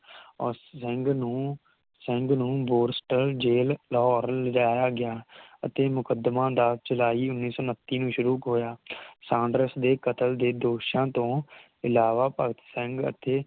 ਓਰ ਸਿੰਘ ਨੂੰ ਸਿੰਘ ਨੂੰ Borstal jail Lahore ਲੈ ਜਾਇਆ ਗਿਆ ਅਤੇ ਮੁਕਦਮਾ ਦਸ ਜੁਲਾਈ ਉਨ੍ਹੀ ਸੌ ਉੱਨਤੀ ਨੂੰ ਸ਼ੁਰੂ ਹੋਇਆ ਸਾਂਡਰਸ ਦੇ ਕਤਲ ਦੇ ਦੋਸ਼ਾਂ ਤੋਂ ਇਲਾਵਾ ਭਗਤ ਸਿੰਘ ਅਤੇ